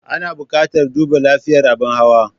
Ana buƙatar duba lafiyar abin hawa.